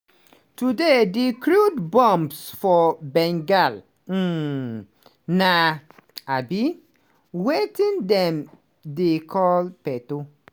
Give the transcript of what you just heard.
today di crude bombs for bengal um na um wetin dem dey call peto.